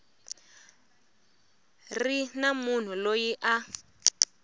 ri na munhu loyi a